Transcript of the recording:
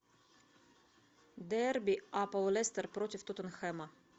дерби апл лестер против тоттенхэма